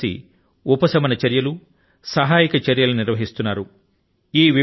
అన్నీ కలసి ఉపశమన చర్యలను సహాయక చర్యల ను నిర్వహిస్తున్నాయి